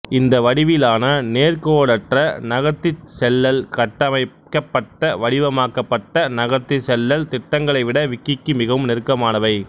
இந்த வடிவிலான நேர்க்கோடற்ற நகர்த்திச்செல்லல் கட்டமைக்கப்பட்டவடிவமாக்கப்பட்ட நகர்த்திச்செல்லல் திட்டங்களைவிட விக்கிக்கு மிகவும் நெருக்கமானவை